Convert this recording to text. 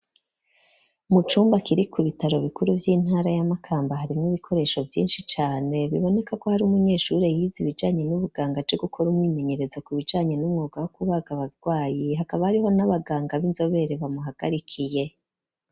Mu cumba, kiri ku bitaro bikuru, vy'intara ya Makamba, harimwo ibikoresho vyinshi cane; biboneka ko, hari umunyeshure, yize ibijanye n'ubuganga, aje gukora umwimenyerezo, ku bijanye n'umwuga, wo kubaga abagwayi; hakaba hariho, n'abaganga b'inzobere, bamuhagarikiye.